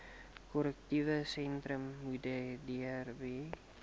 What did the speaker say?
korrektiewe sentrum modderbee